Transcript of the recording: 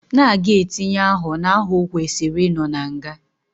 Na aga etinye aho na aho owesiri ino na nga.